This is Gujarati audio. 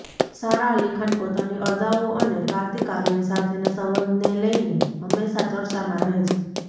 સારા અલી ખાન પોતાની અદાઓ અને કાર્તિક આર્યન સાથેના સંબંધને લઈને હંમેશા ચર્ચામાં રહે છે